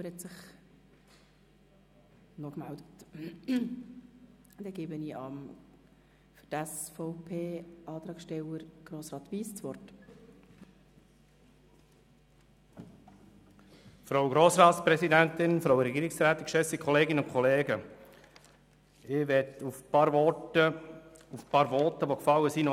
Ich möchte noch auf ein paar Voten antworten und starte mit dem Votum der Regierungsrätin: Sie haben gesagt, der Antrag sei für die Galerie.